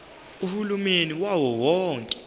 uhulumeni wawo wonke